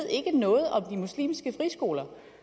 noget om de muslimske friskoler